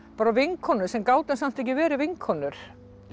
bara vinkonur sem gátum samt ekki verið vinkonur það